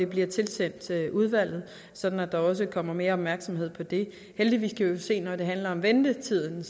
bliver tilsendt udvalget sådan at der også kommer mere opmærksomhed på det heldigvis kan vi jo se at når det handler om ventetiden